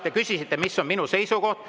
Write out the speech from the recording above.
Te küsisite, mis on minu seisukoht.